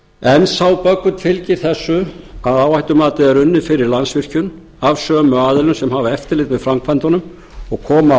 en sá böggull fylgir þessu að áhættumatið er unnið fyrir landsvirkjun af sömu aðilum sem hafa eftirlit með framkvæmdunum og koma að